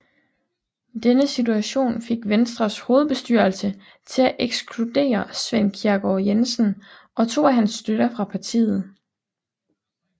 Denne situation fik Venstres hovedbestyrelse til at ekskludere Svend Kjærgaard Jensen og to af hans støtter fra partiet